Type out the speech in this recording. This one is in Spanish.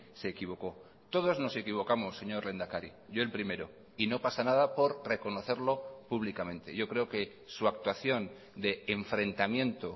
se equivocó todos nos equivocamos señor lehendakari yo el primero y no pasa nada por reconocerlo públicamente yo creo que su actuación de enfrentamiento